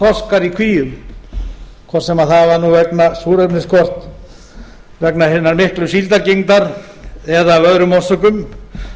þorskar í kvíum hvort sem það var vegna súrefnisskorts vegna hinnar miklu síldargengdar eða af öðrum orsökum